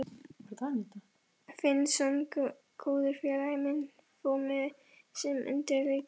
Finnsson, góður félagi minn, fór með sem undirleikari.